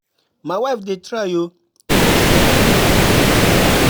My wife dey try oo, she dey help me with bills.